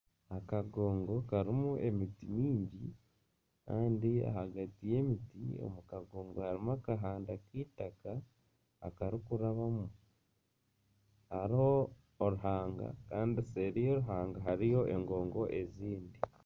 Akagongo karimu emiti mingi kandi ahagati y'emiti omu kagongo harimu akahanda k'eitaka aku barikurabamu, hariho oruhanga kandi seeri y'oruhanga hariyo engongo ezindi